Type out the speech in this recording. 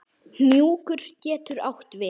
Hnjúkur getur átt við